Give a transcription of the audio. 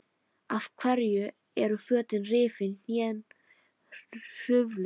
Af hverju eru fötin rifin, hnén hrufluð?